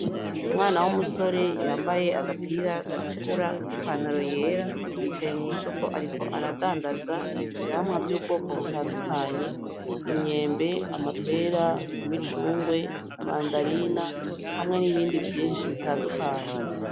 Umwana w'umusore yambaye agapira gatukura n'ipantaro yicaye mw'isoko. Ariko aradandaza ivyamwa vy'ubwoko butandukanye: imyembe, amahera, imicungwe, imandarina, hamwe n'ibindi vyinshi butandukanye.